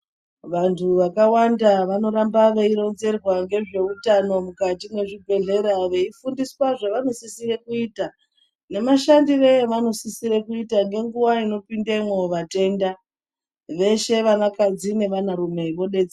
Vandu vakawanda vanohamba veyironzere ngezvewutano mukati mwezvibhedhlera umu veyifundiswa zvavanosisire kuita nemashandiro avanosisire kuita ngenguva inopindemwo vatenda veshe vana kadzi nevana rume vobetserwa.